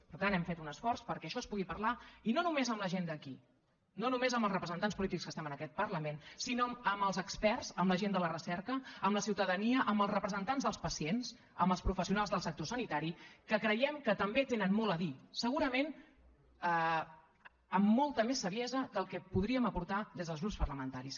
per tant hem fet un esforç perquè això es pugui parlar i no només amb la gent d’aquí no només amb els representants polítics que estem en aquest parlament sinó amb els experts amb la gent de la recerca amb la ciutadania amb els representants dels pacients amb els professionals del sector sanitari que creiem que també tenen molt a dir segurament amb molta més saviesa que el que podríem aportar des dels grups parlamentaris